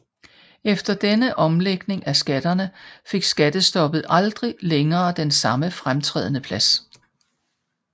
Efter denne omlægning af skatterne fik skattestoppet aldrig længere den samme fremtrædende plads